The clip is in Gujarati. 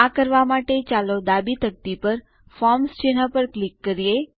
આ કરવા માટે ચાલો ડાબી તકતી પર ફોર્મ્સ ચિહ્ન પર ક્લિક કરીએ